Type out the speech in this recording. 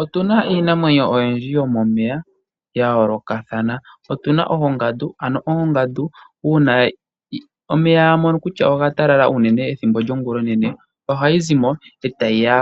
Otu na iinamwenyo oyindji yomomeya ya yoolokathana. Otu na oongandu. Ano ongandu uuna ya mono kutya omeya oga talala unene ethimbo lyongulonene ohayi zi mo e tayi ya